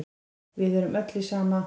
Við erum öll í sama